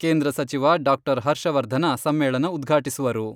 ಕೇಂದ್ರ ಸಚಿವ ಡಾಕ್ಟರ್ ಹರ್ಷ ವರ್ಧನ ಸಮ್ಮೇಳನ ಉದ್ಘಾಟಿಸುವರು.